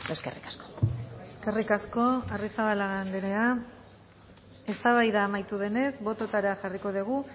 eskerrik asko eskerrik asko arrizabalaga andrea eztabaida amaitu denez bototara jarriko dugu